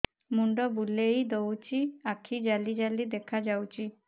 ମୁଣ୍ଡ ବୁଲେଇ ଦଉଚି ଆଖି ଜାଲି ଜାଲି ଦେଖା ଯାଉଚି